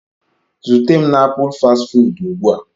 Zute m na Apul fastị fụụdụ ugbu a.